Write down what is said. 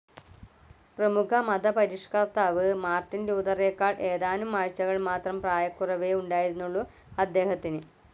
പ്രമുഖ മതപരിഷ്ക്കർത്താവ് മാർട്ടിൻ ലൂതറേക്കാൾ ഏതാനും ആഴ്ചകൾ മാത്രം പ്രായക്കുറവേ ഉണ്ടായിരുന്നുള്ളൂ അദ്ദേഹത്തിന്.